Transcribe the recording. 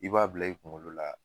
I b'a bila i kuŋolo la